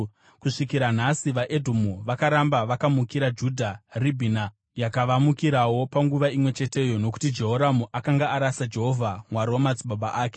Kusvikira nhasi vaEdhomu vakaramba vakamukira Judha. Ribhina yakavamukirawo panguva imwe cheteyo, nokuti Jehoramu akanga arasa Jehovha, Mwari wamadzibaba ake.